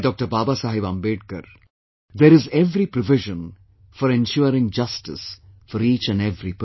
Baba Saheb Ambedkar there is every provision for ensuring justice for each and every person